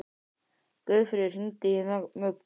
Guðfríður, hringdu í Mugg.